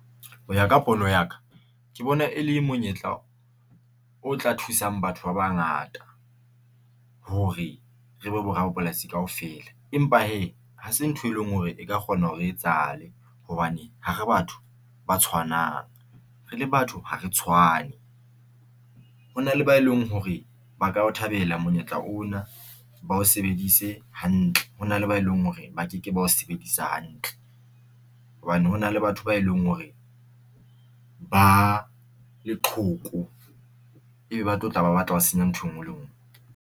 Ho ya ka pono ya ka ke bona e le monyetla o tla thusang batho ba bangata hore re be borapolasi kaofela. Empa hee hase ntho e leng hore e ka kgona hore e etsahale hobane ha re batho ba tshwanang re le batho ha re tshwane. Hona le ba e leng hore ba ka thabela monyetla ona. Ba o sebeditse hantle hona le ba e leng hore ba ke ke bao bedisa hantle hobane hona le batho ba e leng hore ba leqhoko e be tlo tla ba batla ho senya ntho e ngwe le ngwe.